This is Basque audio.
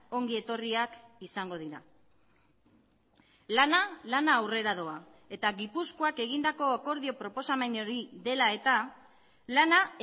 ongi etorriak izango dira lana lana aurrera doa eta gipuzkoak egindako akordio proposamen hori dela eta lana